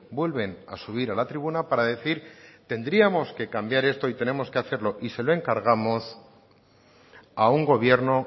vuelven a subir a la tribuna para decir que tendríamos que cambiar esto y tenemos que hacerlo y se lo encargamos a un gobierno